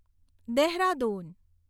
Dehradun